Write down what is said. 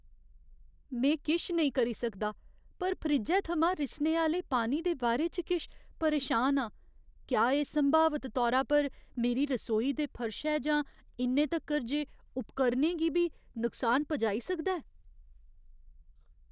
में किश नेईं करी सकदा पर फ्रिज्जै थमां रिसने आह्‌ले पानी दे बारे च किश परेशान आं क्या एह् संभावत तौरा पर मेरी रसोई दे फर्शै जां इन्ने तक्कर जे उपकरणै गी बी नुकसान पुजाई सकदा ऐ?